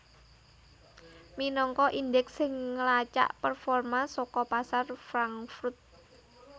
minangka indeks sing nglacak performa saka pasar Frankfurt